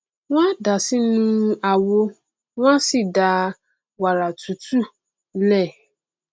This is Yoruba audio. wọn a dàá sí inú àwo wọn a sì da wàrà tútù lé e